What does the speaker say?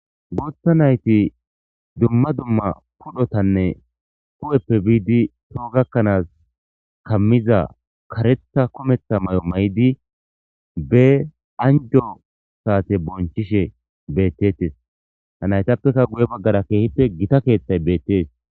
Gooththa nayti dumma dumma pudhotanne kehppe biidi too gakkanaas kammiza karetha kometha may'o may'idi be anjo saate bonchishe bettettes ha naytappeka guye baggara keehipe gita keeththay beettees.